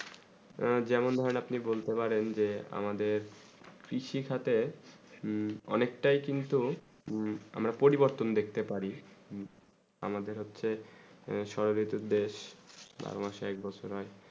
যেমন হয়ে আপনি বলতে পারেন যে আমাদের কৃষি খাতে অনেক তা কিন্তু আমরা পরিবর্তন দেখতে পারি আমাদের হচ্ছেই সৈরত দেশ বড় মাসে এক বছর হয়ে